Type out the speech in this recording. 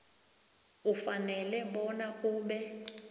ufanele bona ube